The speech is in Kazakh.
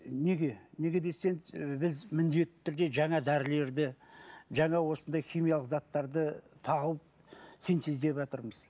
неге неге десеңіз і біз міндетті түрде жаңа дәрілерді жаңа осындай химиялық заттарды тауып синтездеватырмыз